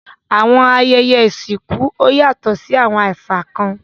Awọn ayẹyẹ isinku yatọ ni awọn àṣà kan